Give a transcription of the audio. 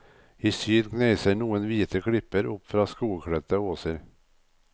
I syd kneiser noen hvite klipper opp fra skogkledte åser.